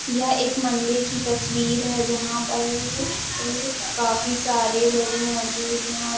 यह एक मंदिर की तस्वीर है | जहाँ पर पर काफी सारे लोग मौजूद है और --